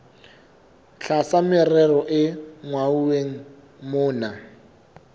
tlasa merero e hlwauweng mona